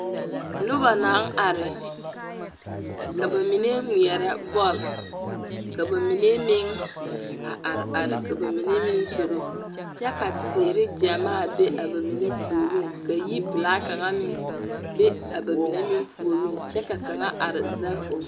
Noba naŋ are. Ka ba mine ŋmeɛrɛ bɔl. K aba mine meŋ a are are ka ba mine meŋ zoro, kyɛ ka teere gyamaa be a ba mine puoriŋ ka yiprlaa kaŋa meŋ be a ba mine meŋ puoriŋ kyɛ kaŋa are zɛg o.